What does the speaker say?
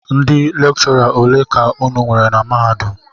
Ndị lekchọra ole ka unu nwere na mahadum?